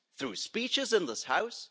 Through speeches in this House?